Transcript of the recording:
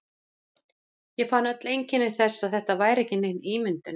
Ég fann öll einkenni þess, að þetta væri ekki nein ímyndun.